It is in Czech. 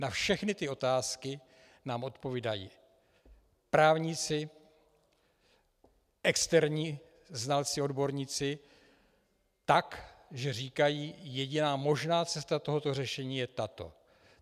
Na všechny ty otázky nám odpovídají právníci, externí znalci odborníci tak, že říkají: Jediná možná cesta tohoto řešení je tato.